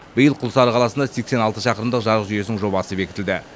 биыл құлсары қаласында сексен алты шақырымдық жарық жүйесенің жобасы бекітілді